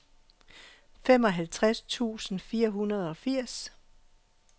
femoghalvtreds tusind fire hundrede og firs